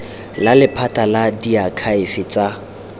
la lephata la diakhaefe tsa